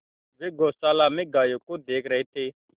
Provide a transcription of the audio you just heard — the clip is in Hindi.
वे गौशाला में गायों को देख रहे थे